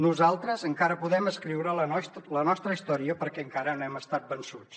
nosaltres encara podem escriure la nostra història perquè encara no hem estat vençuts